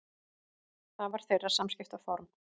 Það var þeirra samskiptaform.